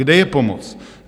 Kde je pomoc?